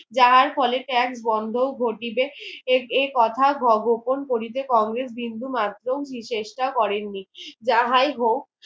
যাহার ফলে ত্যাগ বন্ধ ঘটিবে এই এর কথা গোপন করিতে কংগ্রেস বিন্দু মাত্র চেষ্টা করেন নি যাহাই হোক